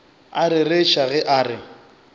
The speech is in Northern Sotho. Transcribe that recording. a rereša ge a re